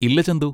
ഇല്ല, ചന്തു.